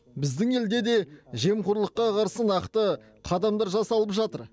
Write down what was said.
біздің елде де жемқорлыққа қарсы нақты қадамдар жасалып жатыр